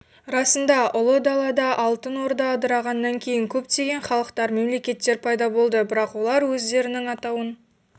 расында ұлы далада алтын орда ыдырағаннан кейін көптеген халықтар мемлекеттер пайда болды бірақ олар өздерінің атауын